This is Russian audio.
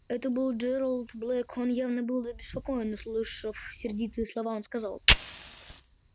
это был джералд блэк он был явно обеспокоен услышав сердитые слова он сказал